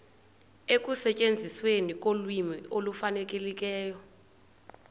ekusetyenzisweni kolwimi olufanelekileyo